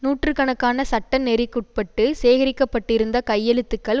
நூற்று கணக்கான சட்ட நெறிக்குட்பட்டு சேகரிக்கப்பட்டிருந்த கையெழுத்துக்கள்